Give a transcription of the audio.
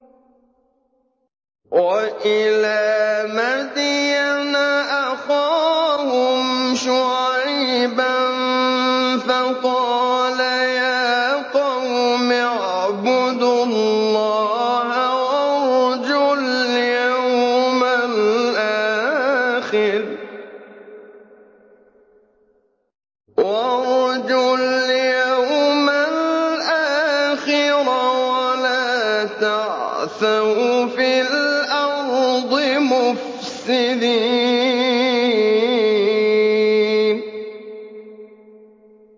وَإِلَىٰ مَدْيَنَ أَخَاهُمْ شُعَيْبًا فَقَالَ يَا قَوْمِ اعْبُدُوا اللَّهَ وَارْجُوا الْيَوْمَ الْآخِرَ وَلَا تَعْثَوْا فِي الْأَرْضِ مُفْسِدِينَ